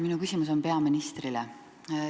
Minu küsimus on peaministrile.